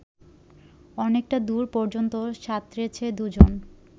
অনেকটা দূর পর্যন্ত সাঁতরেছে দুজন